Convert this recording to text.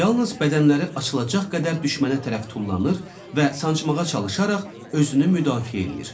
Yalnız bədənləri açılacaq qədər düşmənə tərəf tullanır və sancmağa çalışaraq özünü müdafiə eləyir.